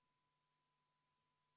Oleme eelnõu 301 muudatusettepanekute juures.